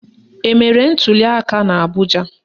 Emere ntuliaka n'Abụja?